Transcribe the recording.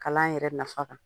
Kalan yɛrɛ nafa